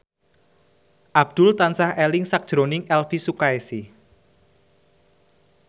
Abdul tansah eling sakjroning Elvy Sukaesih